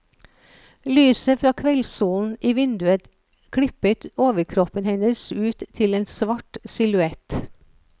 Lyset fra kveldsolen i vinduet klippet overkroppen hennes ut til en svart silhuett.